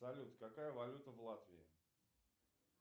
салют какая валюта в латвии